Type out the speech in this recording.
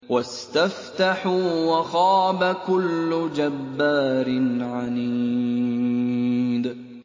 وَاسْتَفْتَحُوا وَخَابَ كُلُّ جَبَّارٍ عَنِيدٍ